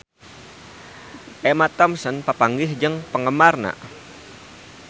Emma Thompson papanggih jeung penggemarna